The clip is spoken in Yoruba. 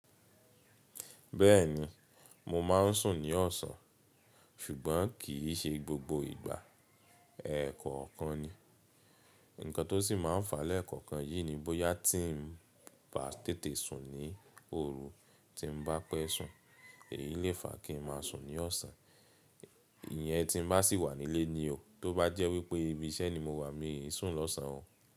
Bẹ́ẹ̀ni mo máà ń sùn ní ọ̀sán ṣùgbọ́n kìí ṣe gbogbo ìgbà. Rẹ̀kọ̀okan ni. Nkan tó sì máa ń fa lẹ́ẹ̀koọ̀kan yìí ni bóyá tí n bá tètè sùn ní òru tí n bá pẹ́ sùn èyí lè fa kí n máa sùn ní ọ̀sán. Ìyẹn tí n bá sì wà nílé ni o. Tó bá jẹ́ wípé ibi iṣẹ́ ni mo wà mi n sùn lọ́sàn o.